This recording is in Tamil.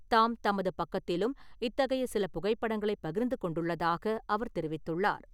தாம் தமது பக்கத்திலும் இத்தகைய சில புகைப்படங்களை பகிர்ந்து கொண்டுள்ளதாக அவர் தெரிவித்துள்ளார்.